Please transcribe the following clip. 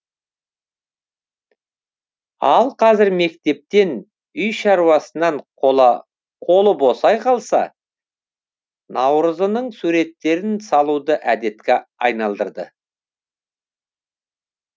ал қазір мектептен үй шаруасынан қолы босай қалса наурызының суреттерін салуды әдетке айналдырды